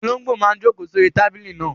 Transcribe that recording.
Olóngbò náà n jòkó sórí tábìlì náà